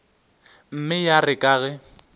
mme ya re ka ge